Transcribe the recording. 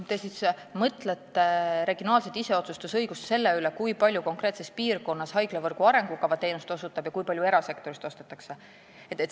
Kas te mõtlete regionaalset iseotsustusõigust selle üle, kui palju osutab konkreetses piirkonnas teenust haiglavõrgu arengukava haigla ja kui palju ostetakse seda erasektorist?